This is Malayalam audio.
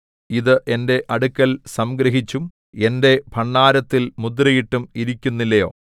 ഇതു എന്റെ അടുക്കൽ സംഗ്രഹിച്ചും എന്റെ ഭണ്ഡാരത്തിൽ മുദ്രയിട്ടും ഇരിക്കുന്നില്ലയോ